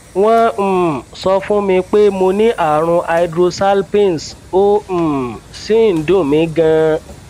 wọn um sọ fún mi pé mo ní ààrùn hydrosalpinx ó um sì ń dùn mí ganan